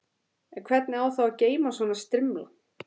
En hvernig á þá að geyma svona strimla?